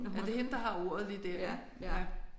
Ja det er hende der har ordet lige der ik ja